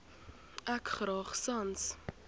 ek graag sans